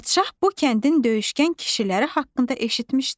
Padşah bu kəndin döyüşkən kişiləri haqqında eşitmişdi.